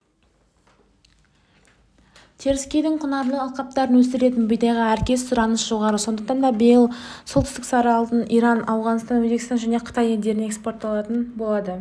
теріскейдің құнарлы алқаптарында өсірілетін бидайға әркез сұраныс жоғары сондықтан биыл солтүстіктің сары алтыны иран ауғанстан өзбекстан және қытай елдеріне эспортталатын болады